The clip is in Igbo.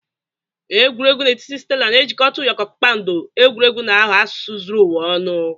Egwuregwu na etiti stela na-ejikọta ụyọkọ kpakpando, egwuregwu na-aghọ asụsụ zuru ụwa ọnụ.